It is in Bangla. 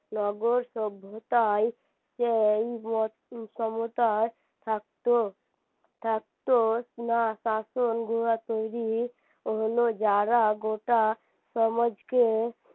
নগর সভ্যতায় সেই থাকতো থাকতো না শাসন গুহা তৈরী হলো যারা গোটা সমাজকে